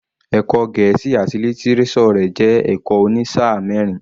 Ẹ̀kọ́ Gẹ̀ẹ́sì àti lítíréṣọ̀ rẹ̀ jẹ́ ẹ̀kọ́ òní sáà mẹ́rin.